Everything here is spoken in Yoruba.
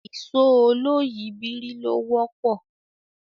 Ìṣó oloyìibírí ló wọ́pọ̀